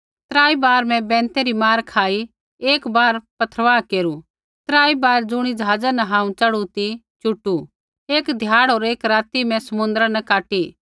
त्राई बार मैं बैंते री मार खाई एक बार पत्थरवाह केरू त्राई बार ज़ुणी ज़हाजा न हांऊँ च़ढ़ू ती चुटू एक ध्याड़ होर एक राती मैं समुन्द्रा न काटी